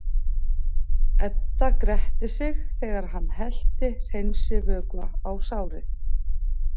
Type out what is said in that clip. Edda gretti sig þegar hann hellti hreinsivökva á sárið.